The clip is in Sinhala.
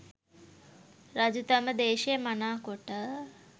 රජු තම දේශය මනා කොට